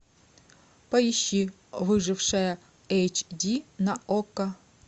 поищи выжившая эйч ди на окко